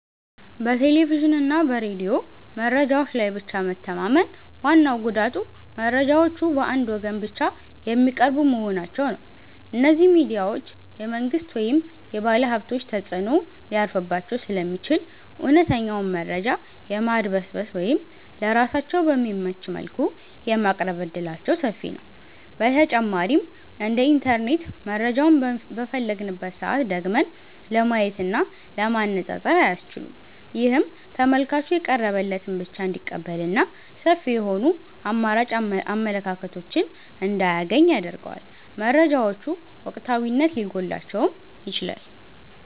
በቴሌቪዥንና በሬዲዮ መረጃዎች ላይ ብቻ መተማመን ዋናው ጉዳቱ መረጃዎቹ በአንድ ወገን ብቻ የሚቀርቡ መሆናቸው ነው። እነዚህ ሚዲያዎች የመንግሥት ወይም የባለሀብቶች ተጽዕኖ ሊያርፍባቸው ስለሚችል፣ እውነተኛውን መረጃ የማድበስበስ ወይም ለራሳቸው በሚመች መልኩ የማቅረብ ዕድላቸው ሰፊ ነው። በተጨማሪም እንደ ኢንተርኔት መረጃውን በፈለግንበት ሰዓት ደግመን ለማየትና ለማነፃፀር አያስችሉም። ይህም ተመልካቹ የቀረበለትን ብቻ እንዲቀበልና ሰፊ የሆኑ አማራጭ አመለካከቶችን እንዳያገኝ ያደርገዋል። መረጃዎቹ ወቅታዊነት ሊጎድላቸውም ይችላል።